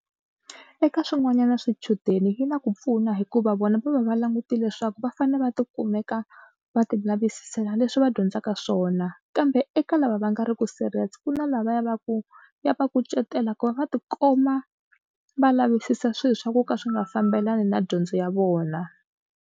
Eka swin'wanyana swichudeni yi na ku pfuna hikuva vona va va va langute leswaku va fanele va tikumeka va tilavisisa leswi va dyondzaka swona kambe eka lava va nga ri ku serious ku na la va ya va ku ya va kucetela ku va va tikuma va lavisisa swilo swa ku ka swi nga fambelani na dyondzo ya vona.